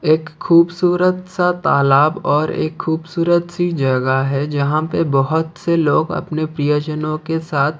एक खूबसूरत सा तालाब और एक खूबसूरत सी जगह है जहां पे बहुत से लोग अपने प्रियजनों के साथ--